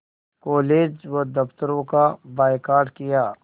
college व दफ़्तरों का बायकॉट किया